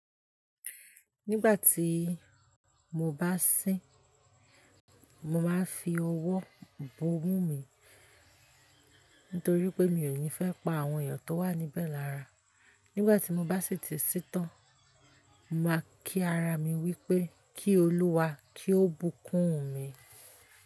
Nígbà tí mo bá sín, mo máa ń fi ọwọ́ bo imú mi, nítorí pé mi ò ní fẹ́ pa àwọn ènìyàn tó wà níbẹ̀ lára. Nígbà tí mo bá sì ti sin tán, mo máa kí ara mi wí pé "Kí Olúwa, kí ó bùkún mi."